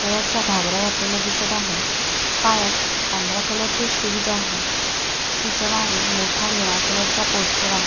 स्कर्टचा घागरा घातलेला दिसत आहे पायात पांढऱ्या कलरचे शूज आहे तिच्या मागे मोठा निळा कलरचा पोस्टर आहे.